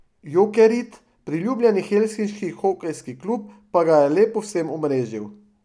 Jokerit, priljubljeni helsinški hokejski klub, pa ga je le povsem omrežil.